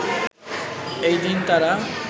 এই দিন তারা